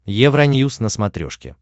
евроньюс на смотрешке